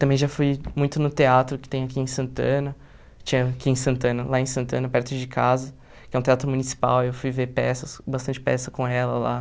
Também já fui muito no teatro que tem aqui em Santana, tinha aqui em Santana, lá em Santana, perto de casa, que é um teatro municipal, e eu fui ver peças, bastante peças com ela lá.